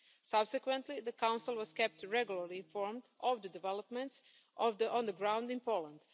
Subsequently the Council was kept regularly informed of the developments on the ground in Poland.